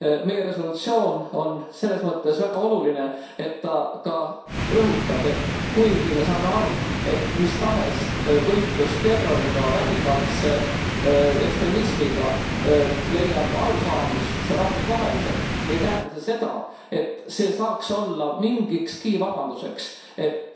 Meie resolutsioon on selles mõttes väga oluline, et ta ka rõhutab, et kuigi me saame aru, et mis tahes võitlus terroriga, vägivaldse ekstremismiga, leiab arusaamist rahvusvaheliselt, ei tähenda see seda, et see saaks olla mingikski vabanduseks, et